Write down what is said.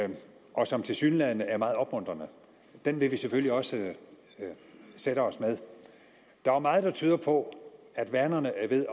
og som tilsyneladende er meget opmuntrende vil vi selvfølgelig også sætte os med der er meget der tyder på at vanerne er ved